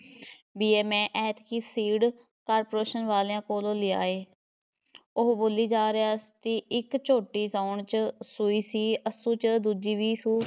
ਬੀਅ ਮੈਂ ਐਤਕੀਂ seed corporation ਵਾਲ਼ਿਆਂ ਕੋਲ਼ੋ ਲਿਆ ਏ ਉਹ ਬੋਲੀ ਜਾ ਰਿਹਾ ਸੀ ਇੱਕ ਝੋਟੀ ਸਾਉਣ ‘ਚ ਸੂਈ ਸੀ, ਅੱਸੂ ‘ਚ ਦੂਜੀ ਵੀ ਸੂ